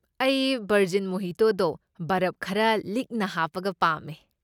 ꯑꯩ ꯕꯔꯖꯤꯟ ꯃꯣꯍꯤꯇꯣꯗꯣ ꯕꯔꯕ ꯈꯔ ꯂꯤꯛꯅ ꯍꯥꯞꯄꯒ ꯄꯥꯝꯃꯦ꯫